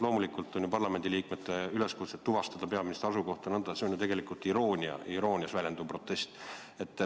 Loomulikult on parlamendiliikmete üleskutse tuvastada peaministri asukohta jne tegelikult ju iroonia, see on iroonias väljenduv protest.